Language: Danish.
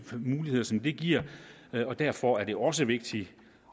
muligheder som det giver og derfor er det også vigtigt